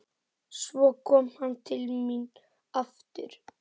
Svo kom hann til mín aftur.